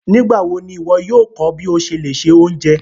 Nígbàwọ̀ ní iwọ̀ yóò kọ́ bí o ṣé lè ṣẹ ọ̀unjẹ?